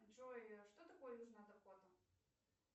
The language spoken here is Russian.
джой что такое южная дакота